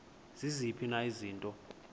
ziziphi na izinto